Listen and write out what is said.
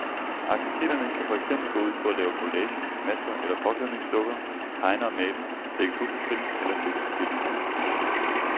Aktiviteterne kan for eksempel gå ud på at lave collager, masker eller påklædningsdukker, tegne og male, lægge puslespil eller spille forskellige spil.